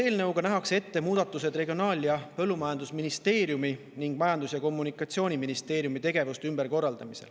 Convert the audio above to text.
Eelnõu kohaselt nähakse ette muudatused, Regionaal‑ ja Põllumajandusministeeriumi ning Majandus‑ ja Kommunikatsiooniministeeriumi tegevuste ümberkorraldamine.